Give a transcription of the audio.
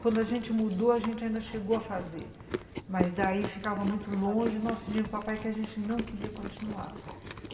Quando a gente mudou, a gente ainda chegou a fazer, mas daí ficava muito longe e nós pedíamos ao papai que a gente não queria continuar.